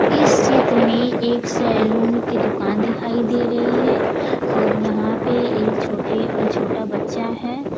इस चित्र में एक सैलून की दुकान दिखाई दे रही है और यहां पे एक छोटा बच्चा है।